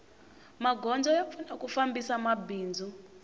magondzo ya pfuna ku fambisa mabindzu